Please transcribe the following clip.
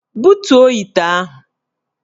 Butuo ite ahụ!